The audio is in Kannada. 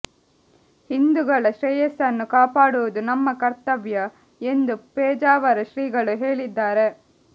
ಹಿಂದೂಗಳ ಶ್ರೇಯಸ್ಸನ್ನು ಕಾಪಾಡುವುದು ನಮ್ಮ ಕರ್ತವ್ಯ ಎಂದು ಪೇಜಾವರ ಶ್ರೀಗಳು ಹೇಳಿದ್ದಾರೆ